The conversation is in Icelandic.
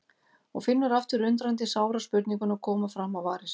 Og finnur aftur undrandi sára spurninguna koma fram á varir sér